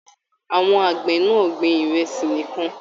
Àwọn àgbẹ náà gbìn ìrẹsì nìkàn.